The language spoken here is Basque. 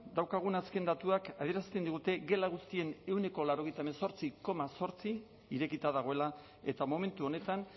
dauzkagun azken datuak adierazten digute gela guztien ehuneko laurogeita zortzi koma zortzi irekita dagoela eta momentu honetan